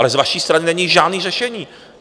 Ale z vaší strany není žádné řešení.